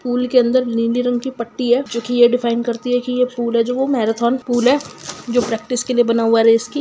Pool के अंदर नीले रंग के पट्टी है जोकि ये डिफाईन करती है की पूल है जो मैरोथोन पूल है जो प्रेक्टिस के लिए बना है रेस की।